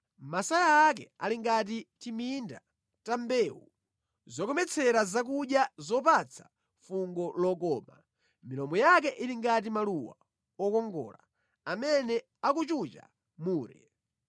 Masaya ake ali ngati timinda ta mbewu zokometsera zakudya zopatsa fungo lokoma. Milomo yake ili ngati maluwa okongola amene akuchucha mure.